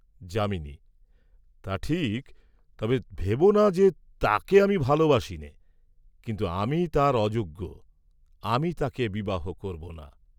যামিনী, "তা ঠিক, তবে ভেবো না যে তাকে আমি ভালবাসিনে, কিন্তু আমি তার অযোগ্য। আমি তাকে বিবাহ করব না।"